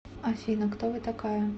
афина кто вы такая